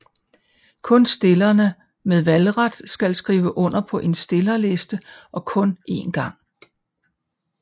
Kun stillerne med valgret kan skrive under på en stillerliste og kun én gang